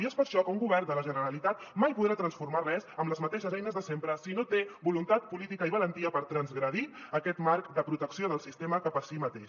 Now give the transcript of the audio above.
i és per això que un govern de la generalitat mai podrà transformar res amb les mateixes eines de sempre si no té voluntat política i valentia per transgredir aquest marc de protecció del sistema cap a si mateix